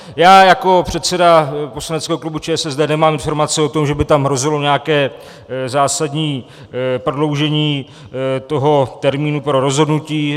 Já jako předseda poslaneckého klubu ČSSD nemám informace o tom, že by tam hrozilo nějaké zásadní prodloužení toho termínu pro rozhodnutí.